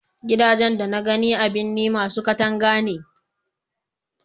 gidajen da na gani a birni masu katanga ne